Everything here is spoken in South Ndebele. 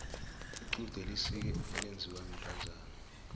lqude lisike elinziwa bantazana